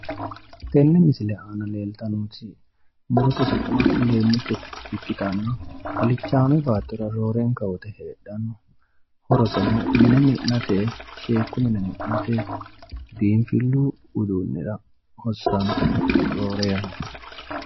Tenne misile aana leeltannoti murote su'ma leeemmicho ikkitanna alichaame baattora roorenka woyiite heedhanno horoseno mine mi'nate sheekku mine mi'nate biinfillu uduunnira hossanno roore yanna